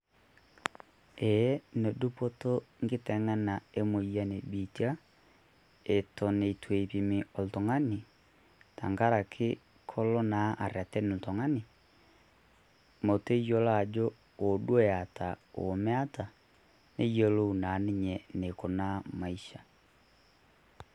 Ee nedupoto enkiteng'ena emoyian ebiitia eton eitu eipimi oltungani tenkaraki koloo naa areren oltungani metayiolo ajoo woo duoo etaa ometaa neyiolou naa ninye enikunaa maisha